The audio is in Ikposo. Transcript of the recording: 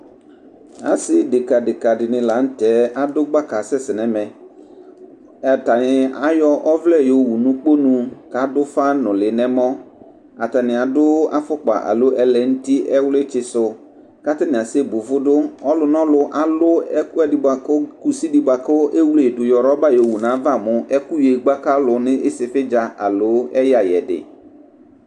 Assi deka deka dini la n'tɛ adu gbaka assɛssɛ nɛmɛ ,atani ayɔ ɔvlɛ yowu n'ukpɔnu k'adufa nuli n emɔ Atani adu afukpa alo ulenuti ɛwlitsisu katani assebuvudu ɔlunɔlu alu ekuɛdi buaku kussidi buaku ewledu yɔ roba yowu nayava mu ɛku yegbakalu n'issifidza alo ɛyuiyedi